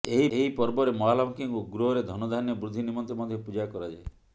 ଏହି ପର୍ବରେ ମହାଲକ୍ଷ୍ମୀଙ୍କୁ ଗୃହରେ ଧନଧାନ୍ୟ ବୃଦ୍ଧି ନିମନ୍ତେ ମଧ୍ୟ ପୂଜା କରାଯାଏ